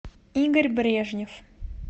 игорь брежнев